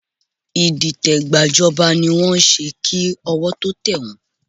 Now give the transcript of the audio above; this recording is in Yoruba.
Ìdìtẹ̀gbàjọba ni wọ́n ń ṣe kí ọwọ́ tó tẹ̀ wọ́n